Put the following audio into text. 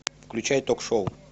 включай ток шоу